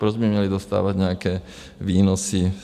Proč by měly dostávat nějaké výnosy?